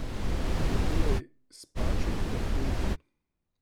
Je torej spaček trpežen?